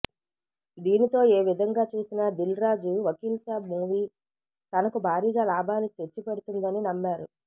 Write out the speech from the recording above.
దీనితో ఏ విధంగా చూసినా దిల్ రాజు వకీల్ సాబ్ మూవీ తనకు భారీగా లాభాలు తెచ్చిపెడుతుందని నమ్మారు